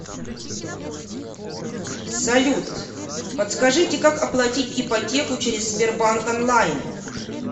салют подскажите как оплатить ипотеку через сбербанк онлайн